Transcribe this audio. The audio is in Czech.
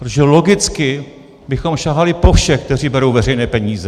Protože logicky bychom sahali po všech, kteří berou veřejné peníze.